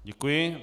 Děkuji.